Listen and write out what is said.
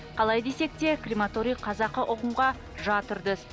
қалай десек те крематорий қазақы ұғымға жат үрдіс